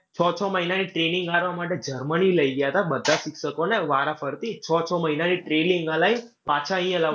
છ, છ મહિના training આલવા માટે જર્મની લઈ ગયા તા બધા શિક્ષકોને વારાફરતી, છ છ મહિનાની training અલાઈ પાછા અહિયાં